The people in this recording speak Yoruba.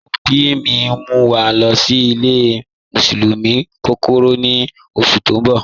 Awọn ọbì mì n mú wa lọ́ sí ìlẹ̀ musiọmu kọ́kọ́rọ́ ní oṣù tí n bọ̀